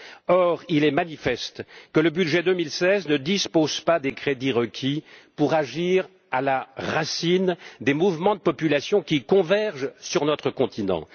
Or, il est manifeste que le budget 2016 ne dispose pas des crédits requis pour agir à la racine des mouvements de population qui convergent vers notre continent.